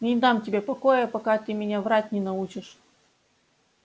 не дам тебе покоя пока ты меня врать не научишь